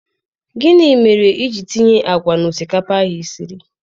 Gịnị mere iji tinye àgwà na osikapa ahụ i siri